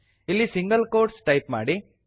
ಇಲ್ಲಿ single quotes type ಮಾಡಿ